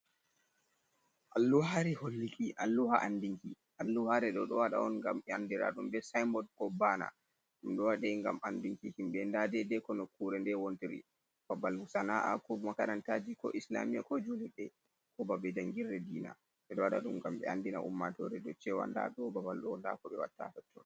Alluhaare holluki, alluha anndinki. Alluhaare ɗo waɗa on ngam andiraɗum bee "saymbod" koo "bahna". Ɗum ɗo waɗa ngam anndinki himɓe ndaa deede ko nokkuure ndee wontiri. Babal Sana'aaku, makarantaaji koo "islaamiiya" koo juulirde koo babe janngirre diina. Ɓe ɗo waɗa ɗum ngam ɓe anndina ummatoore dow "ceewa" ndaa ɗoo babal ɗoo ndaa ko ɓe watta hatton.